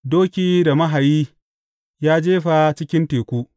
Doki da mahayi, ya jefa cikin teku.